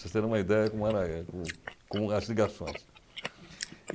Vocês terem uma ideia de como era a, com as ligações.